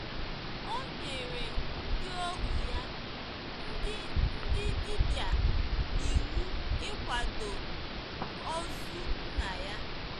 O nyere “ ndị ohu ya, ndị ndị dibịa, iwu ịkwado ozu nna ya. ”